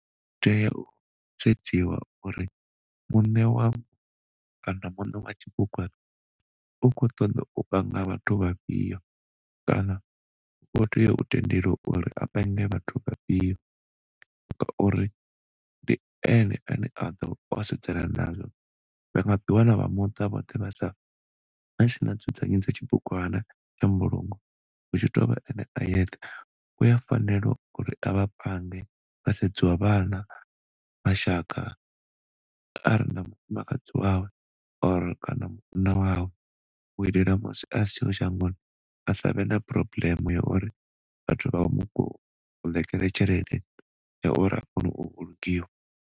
Tea u sedziwa uri muṋe wa kana muṋe wa tshibugwana u kho ṱoḓo u panga vhathu vha fhio kana u kho tea u tendeliwa uri a pange vhathu vha fhio nga uri ndi ene a ḓo sedzana nazwo vha nga ḓi wana vha muṱa vhoṱhe vhasa vhasina nzudzanyo dza tshibugwana ya mbulungo hu tshi tovha ene a yethe. Uya fanela uri a vha pange ha sedziwa vhana, mashaka kana na mufumakadzi wawe or kana munna wawe u itela musi asi tsha vha shangoni asavhe na problem ya uri vhathu vha mu koḽekele tshelede ya uri a kone u vhulungiwa.